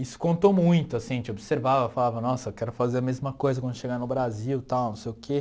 isso contou muito, assim, a gente observava, falava, nossa, eu quero fazer a mesma coisa quando chegar no Brasil, tal, não sei o quê.